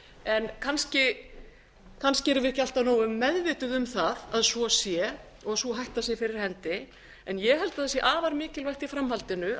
en kannski erum við ekki alltaf nógu meðvituð um það að svo sé og sú hætta sé fyrir hendi en ég held að það sé afar mikilvægt í framhaldinu